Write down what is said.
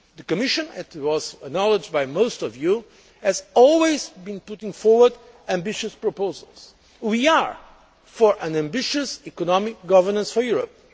The Commission and this was acknowledged by most of you has always been putting forward ambitious proposals. We are for ambitious economic governance for Europe.